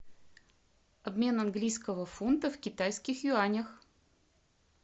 обмен английского фунта в китайских юанях